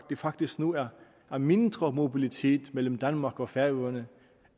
faktisk nu er er mindre mobilitet mellem danmark og færøerne